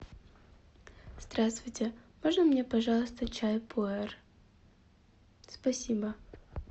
здравствуйте можно мне пожалуйста чай пуэр спасибо